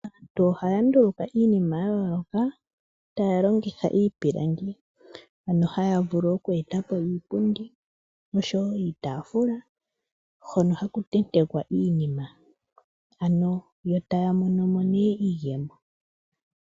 Aantu ohaya nduluka iinima ya tooloka, taya longitha iipilangi . Ano haya vulu oku eta po iipundi noshowo iitaafula hono haku tentekwa iinima. Ano yo taya mono mo nee iiyemo.